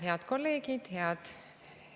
Head kolleegid!